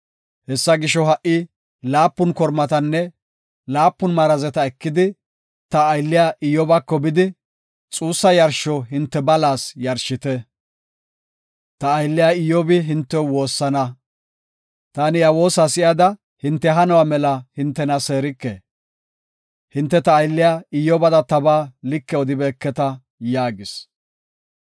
Hessa gisho, ha77i laapun kormatanne laapun marazeta ekidi ta aylliya Iyyobako bidi, xuussa yarsho hinte balas yarshite. Ta aylliya Iyyobi hintew woossana; taani iya woosa si7ada hinte hanuwa mela hintena seerike. Hinte ta aylliya Iyyobada tabaa like odibeketa” yaagis.